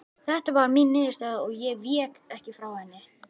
Þeta var mín niðurstaða og ég vék ekki frá henni.